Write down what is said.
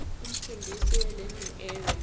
umfundisi welearning area